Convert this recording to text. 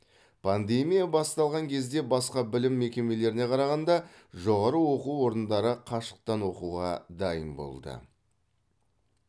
пандемия басталған кезде басқа білім мекемелеріне қарағанда жоғары оқу орындары қашықтан оқуға дайын болды